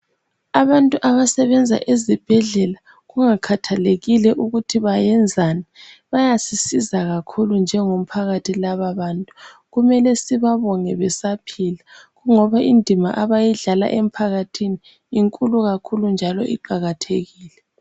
Abantu abasebenza ezibhedlela kungakhathalekile ukuthi bayenzani bayasisiza kakhulu njengomphakathi lababantu. Kumele sibabonge besaphila ngoba indima abayidlala emphakathini inkulu kakhulu njalo iqakathekile.